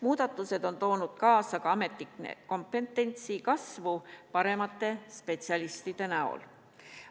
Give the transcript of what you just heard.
Muudatused on toonud kaasa ka ametnike kompetentsi kasvu paremate spetsialistide näol.